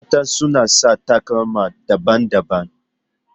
Mata suna sa takalma daban-daban.